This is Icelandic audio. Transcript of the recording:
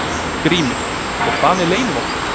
GRÍMUR: Og hvað með leynivopnið?